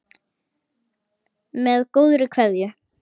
Með góðri kveðju.